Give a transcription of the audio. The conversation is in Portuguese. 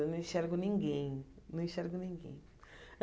Eu não enxergo ninguém, não enxergo ninguém.